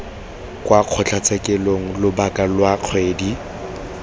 kwa kgotlatshekelo lobaka lwa kgwedi